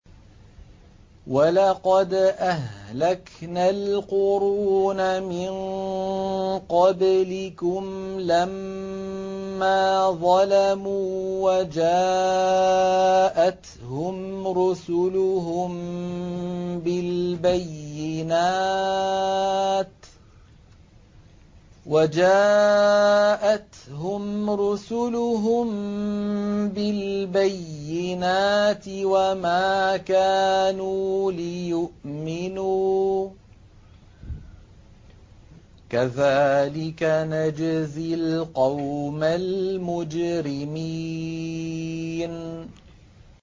وَلَقَدْ أَهْلَكْنَا الْقُرُونَ مِن قَبْلِكُمْ لَمَّا ظَلَمُوا ۙ وَجَاءَتْهُمْ رُسُلُهُم بِالْبَيِّنَاتِ وَمَا كَانُوا لِيُؤْمِنُوا ۚ كَذَٰلِكَ نَجْزِي الْقَوْمَ الْمُجْرِمِينَ